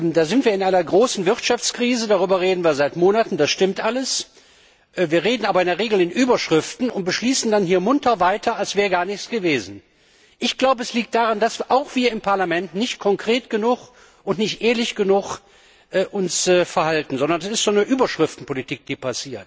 Da sind wir in einer großen Wirtschaftskrise darüber reden wir seit Monaten, das stimmt alles wir reden aber in der Regel in Überschriften und beschließen dann hier munter weiter, als wäre gar nichts gewesen. Ich glaube, das liegt daran, dass wir uns auch hier im Parlament nicht konkret genug und nicht ehrlich genug verhalten, sondern so etwas wie eine Überschriftenpolitik betreiben.